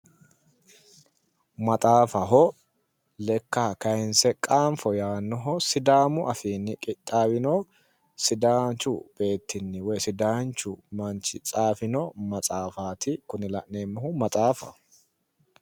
Maxaafaho, lekka kaayinse qaanfo yaannoho. Sidaamu afiinni qixaawinoho sidaanchu beeti woyi manchi tsaafino maxaafaati. Maxaafaho.